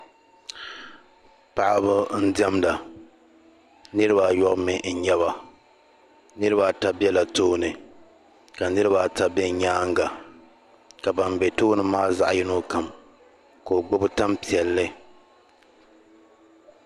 Paɣ'ba n diɛmda niriba ayɔbu mi nyaba niriba ata bɛla tooni ka niriba ata bɛ nyaaŋa ka ban bɛ tooni maa zaɣ'yino kam ka gbubi tam piɛlli.